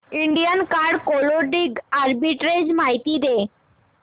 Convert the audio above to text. Indian card clothing arbitrage माहिती दे